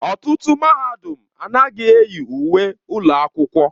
Ọtụtụ mahadum anaghị eyi uwe ụlọ akwụkwọ.